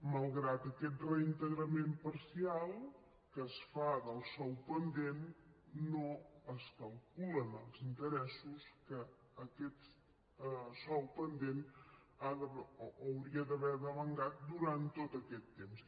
malgrat aquest reintegrament parcial que es fa del sou pendent no es calculen els interessos que aquest sou pendent hauria d’haver meritat durant tot aquest temps